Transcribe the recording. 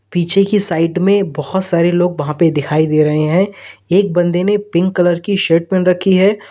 पीछे की साइड में बहोत सारे लोग वहां पर दिखाई दे रहे हैं एक बंदे ने पिंक कलर की शर्ट पहन रखी है।